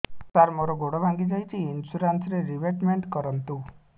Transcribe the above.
ସାର ମୋର ଗୋଡ ଭାଙ୍ଗି ଯାଇଛି ଇନ୍ସୁରେନ୍ସ ରିବେଟମେଣ୍ଟ କରୁନ୍ତୁ